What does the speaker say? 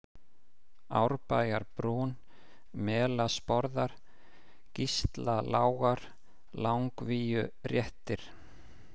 Árbæjarbrún, Melasporðar, Gíslalágar, Langvíuréttir